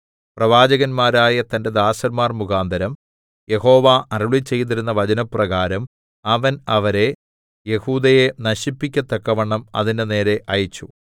പ്രവാചകന്മാരായ തന്റെ ദാസന്മാർ മുഖാന്തരം യഹോവ അരുളിച്ചെയ്തിരുന്ന വചനപ്രകാരം അവൻ അവരെ യെഹൂദയെ നശിപ്പിക്കത്തക്കവണ്ണം അതിന്റെ നേരെ അയച്ചു